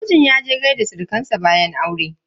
Mijin yaje gaishe da surukan sa bayan aure.